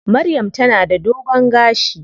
Maryam ta na da dogon gashi.